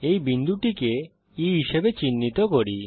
এই বিন্দুটিকে E হিসাবে চিহ্নিত করি